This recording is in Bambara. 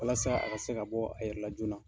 Walasa a ka se ka bɔ a yɛrɛ la joona.